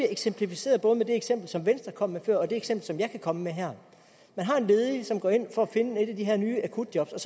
eksemplificeret både med det eksempel som venstre kom med før og det eksempel som jeg kan komme med her en ledig går ind for at finde et af de her nye akutjob og